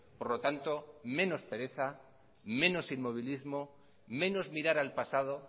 por lo tanto menos pereza menos inmovilismo menos mirar al pasado